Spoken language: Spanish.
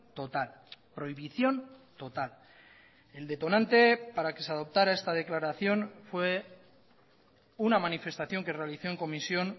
total prohibición total el detonante para que se adoptara esta declaración fue una manifestación que realizó en comisión